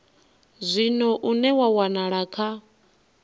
zwino une wa wanala kha